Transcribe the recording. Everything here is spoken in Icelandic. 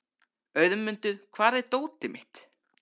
Auðmundur, hvar er dótið mitt?